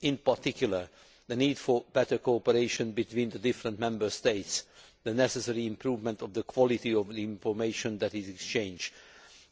In particular, the need for better coordination between the different Member States, the necessary improvement of the quality of the information that is exchanged,